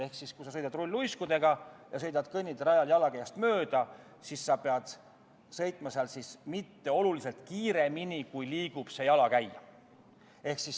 " Ehk kui sa sõidad rulluiskudega ja sõidad kõnniteerajal jalakäijast mööda, siis ei tohi sa seal sõita oluliselt kiiremini, kui liigub jalakäija.